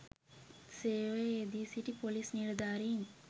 සේවයේ යෙදී සිටි පොලිස් නිලධාරීන්